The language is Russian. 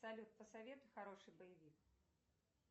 салют посоветуй хороший боевик